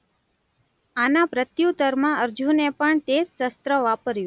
આના પ્રત્યુતરમાં અર્જુને પણ તે જ શસ્ત્ર વાપર્યું.